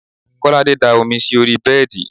Kolade da omi sí orí bẹ́ẹ̀dì